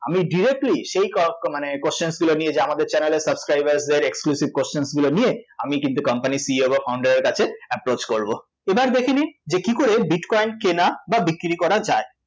আমি directly সেই ক~ ক~ মানে question গুলো নিয়ে যে আমাদের channel এর subscriber দের exclusive question গুলো নিয়ে আমি কিন্তু company এর CEO বা founder এর কাছে approach করব এবার দেখে নিই যে কী করে bitcoin কেনা বা বিক্রী করা যায়